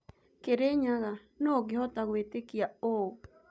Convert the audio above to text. "Kirinyaga, nũ ũngehota gwĩtekia ũ?